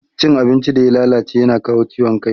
Cin abincin da ya lalace yana kawo ciwon ciki.